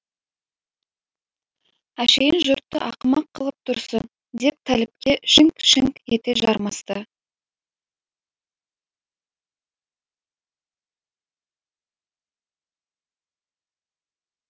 әшейін жұртты ақымақ қылып тұрсың деп тәліпке шіңк шіңк ете жармасты